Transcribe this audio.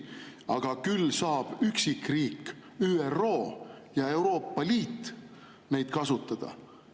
Aga küll saab seda teha üksikriik, ÜRO ja Euroopa Liit saavad neid kasutada.